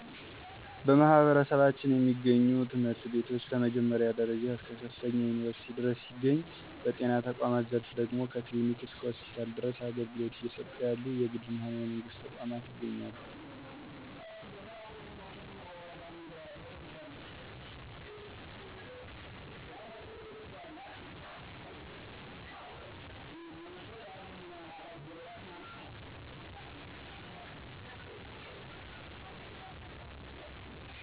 በማህበረሰባችን የሚገኙ ትምህርት ቤቶች ከመጀመሪያ ደረጃ እስከ ከፍተኛ ዩኒቨርስቲ ድረስ ሲገኝ፤ በጤና ተቋማት ዘርፍ ደግሞ ከ ክሊኒክ እስከ ሆስፒታል ድረስ አገልግሎት እየሰጡ ያሉ የግልም ሆነ የመንግስት ተቋማት ይገኛሉ።